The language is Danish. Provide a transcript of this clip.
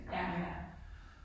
Ja ja